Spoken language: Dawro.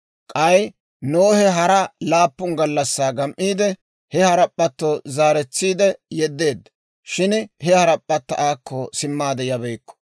K'ay Nohe hara laappun gallassaa gam"iide, he harap'p'atto zaaretsiide yedeedda; shin he harap'p'atta aakko simmaade yabeykku.